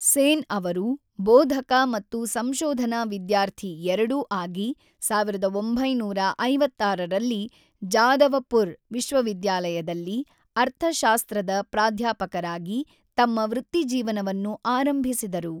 ಸೇನ್ ಅವರು, ಬೋಧಕ ಮತ್ತು ಸಂಶೋಧನಾ ವಿದ್ಯಾರ್ಥಿ ಎರಡೂ ಆಗಿ, ೧೯೫೬ ರಲ್ಲಿ ಜಾದವಪುರ್ ವಿಶ್ವವಿದ್ಯಾಲಯದಲ್ಲಿ ಅರ್ಥಶಾಸ್ತ್ರದ ಪ್ರಾಧ್ಯಾಪಕರಾಗಿ ತಮ್ಮ ವೃತ್ತಿಜೀವನವನ್ನು ಆರಂಭಿಸಿದರು.